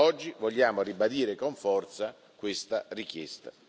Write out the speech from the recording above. Oggi vogliamo ribadire con forza questa richiesta.